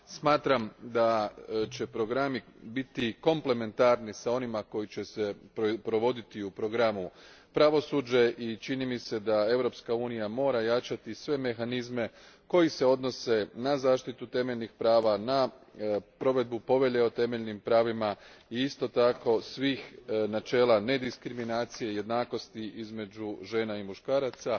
Smatram da će programi biti komplementarni s onima koji će se provoditi u programu Pravosuđe i čini mi se da Europska unija mora jačati sve mehanizme koji se odnose na zaštitu temeljnih prava, na provedbu Povelje o temeljnim pravima i isto tako svih načela nediskriminacije, jednakosti između žena i muškaraca,